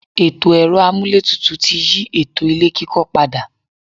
Ètò ẹ̀rọ-amúlétutù ti yí ètò ilé-kíkọ́ pada.